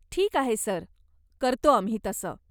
ठीक आहे, सर, करतो आम्ही तसं.